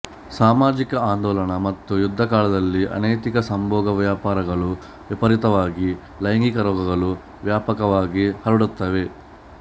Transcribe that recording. ಸಾಮಾಜಿಕ ಆಂದೋಲನ ಮತ್ತು ಯುದ್ಧಕಾಲದಲ್ಲಿ ಅನೈತಿಕ ಸಂಭೋಗವ್ಯಾಪಾರಗಳು ವಿಪರೀತವಾಗಿ ಲೈಂಗಿಕ ರೋಗಗಳು ವ್ಯಾಪಕವಾಗಿ ಹರಡುತ್ತವೆ